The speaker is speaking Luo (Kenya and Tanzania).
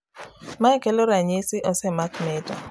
mae kelo ranyisi osemaki mita